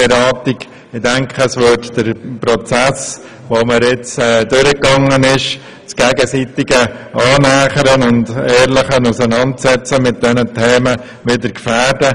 Ich denke, dies würde den Prozess, den wir gemacht haben, und das gegenseitige Annähern und die ehrliche Auseinandersetzung mit diesen Themen wieder gefährden.